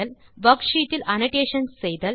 worksheet இல் annotations செய்தல்